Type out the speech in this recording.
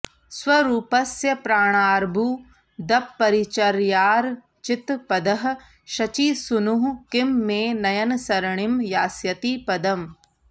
स्वरूपस्य प्राणार्बुदपरिचर्यार्चितपदः शचीसूनुः किं मे नयनसरणीं यास्यति पदम्